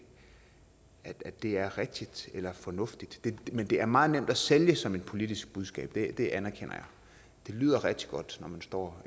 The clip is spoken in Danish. at det er rigtigt eller fornuftigt men det er meget nemt at sælge som et politisk budskab det anerkender jeg det lyder rigtig godt når man står